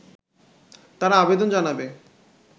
তারা আবেদন জানাবে